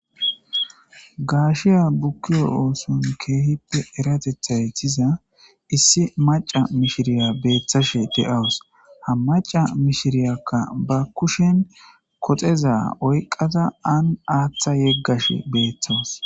Gaashiya bukkiyo ooson keehippe eratethay tyiza issi maca mishiriya beeththashe de7awus ha maca mishiriyakka ba kushen koxeza oyqata an aaththa yeggash beeththawus